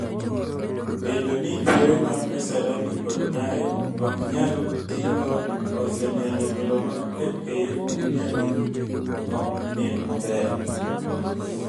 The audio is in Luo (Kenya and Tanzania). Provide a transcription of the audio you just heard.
Bedo ni pewe mag Kasarani Kod Nyayo ok nyal ti go osemiyo jotelo mag FKF Premier League ok nind maber.